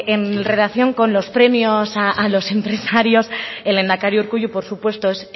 en relación con los premios a los empresarios el lehendakari urkullu por supuesto es